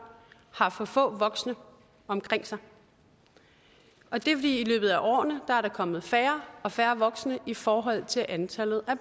har for få voksne omkring sig og det vi i løbet af årene er at der er kommet færre og færre voksne i forhold til antallet af